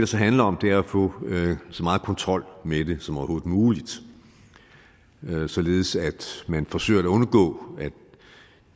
så handler om er at få så meget kontrol med det som overhovedet muligt således at man forsøger at undgå at